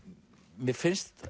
mér finnst